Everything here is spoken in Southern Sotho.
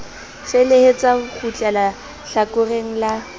felehetsa ho kgutleha hlakoreng la